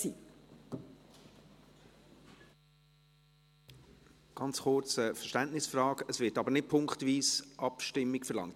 Ganz kurz eine Verständnisfrage: Es wird aber nicht punktweise Abstimmung verlangt?